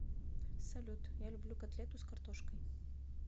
салют я люблю котлету с картошкой